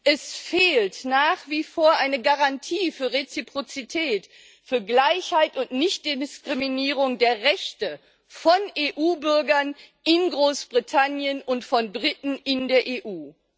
Es fehlt nach wie vor eine Garantie für Reziprozität, für Gleichheit und Nichtdiskriminierung der Rechte von EU Bürgern in Großbritannien und von Briten in der EU.